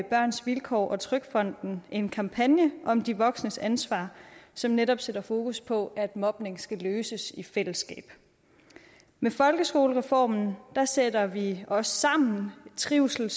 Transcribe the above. børns vilkår og trygfonden en kampagne om de voksnes ansvar som netop sætter fokus på at mobning skal løses i fællesskab med folkeskolereformen sætter vi os sammen trivsel